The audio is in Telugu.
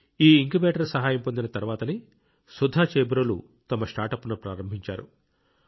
ఈ ఇంక్యుబేటర్ సహాయం పొందిన తర్వాతనే సుధా చేబ్రోలు తన స్టార్టప్ను ప్రారంభించారు